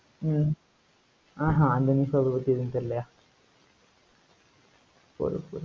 ஹம் ஆஹ் ஹம் அந்த newspaper பத்தி எதுவும் தெரியலய்யா